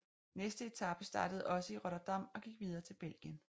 Næste etape startede også i Rotterdam og gik videre til Belgien